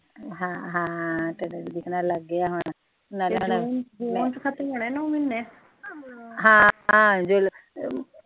ਹਮ ਹਮ